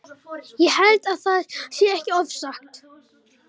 Ég held að það sé ekki ofsagt.